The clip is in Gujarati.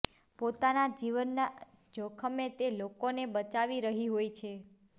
પોતાના જીવના જોખમે તે લોકોને બચાવી રહી હોય છે